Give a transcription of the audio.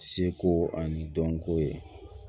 Seko ani dɔnko ye